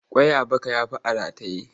Ƙwai a baka ya fi a rataye.